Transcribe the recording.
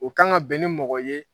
O kan ka bɛn ni mɔgɔ ye